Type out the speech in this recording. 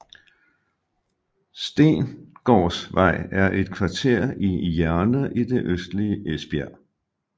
Stengårdsvej er et kvarter i Jerne i det østlige Esbjerg